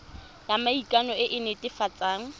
ya maikano e e netefatsang